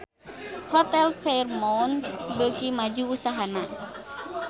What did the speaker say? Hotel Fairmont beuki maju usahana